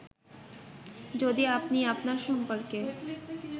যদি আপনি আপনার সম্পর্কে